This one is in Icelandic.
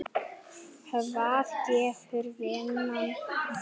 Hvað gefur vinnan þér?